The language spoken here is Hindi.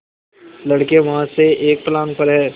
लड़के वहाँ से एक फर्लांग पर हैं